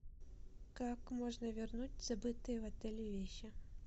как можно вернуть забытые в отеле вещи